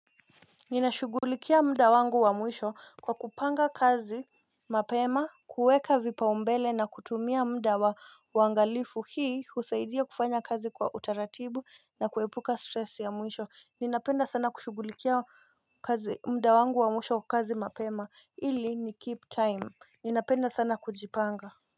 Ninashugulikia mda wangu wa muisho kwa kupanga kazi mapema kueka vipa umbele na kutumia mda wa wangalifu hii husaidia kufanya kazi kwa utaratibu na kuepuka stress ya muisho ninapenda sana kushugulikia mda wangu wa muisho kazi mapema ili ni keep time ninapenda sana kujipanga.